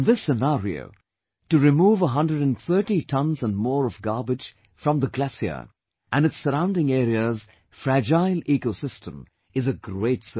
In this scenario, to remove 130 tons and more of garbage from the glacier and its surrounding area's fragile ecosystem is a great service